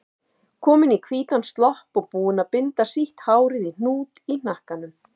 Komin í hvítan slopp og búin að binda sítt hárið í hnút í hnakkanum.